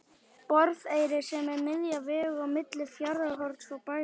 Borðeyri sem er miðja vegu á milli Fjarðarhorns og Bæjar.